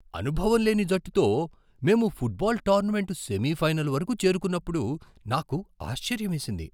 అనుభవంలేని జట్టుతో మేము football tournament semifinal వరకు చేరుకున్నప్పుడు నాకు ఆశ్చర్యమేసింది.